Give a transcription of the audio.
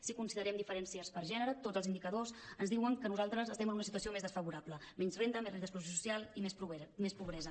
si considerem diferències per gè·nere tots els indicadors ens diuen que nosaltres estem en una situació més desfavo·rable menys renda més risc d’exclusió social i més pobresa